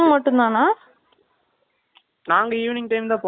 நாங்க evening time ல போனோம் இல்லை afternoon இருந்தே இருக்கு நினைக்குறன்.